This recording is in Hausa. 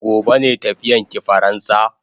Gobe ne tafiyan ki faransa?